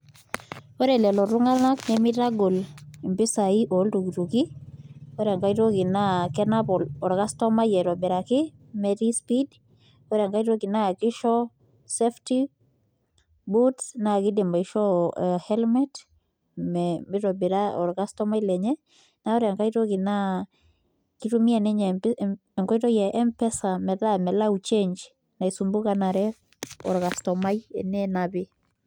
Ore lelo tunganak, nemeitagol mpisai ooltukutuki, ore enkae toki naa kenap or customer aitobiraki metii speed ,ore enkae toki naa keisho helmet pee eitobiraa iltunganak, ore enkae naa eitumia enkoitoi e mpesa metaa melau change